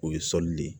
O ye sɔli de ye